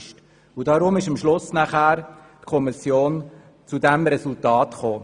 Deshalb ist die Kommission am Schluss zu diesem Resultat gekommen.